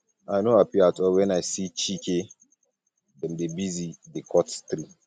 i no happy at all wen i see as chike dem dey busy dey cut tree